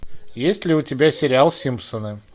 есть ли у тебя сериал симпсоны